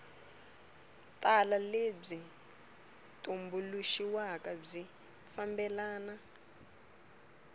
tala lebyi tumbuluxiweke byi fambelana